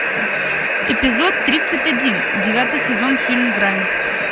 эпизод тридцать один девятый сезон фильм грань